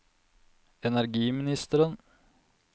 energiministeren